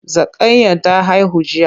Zakanyar ta haihu jiya.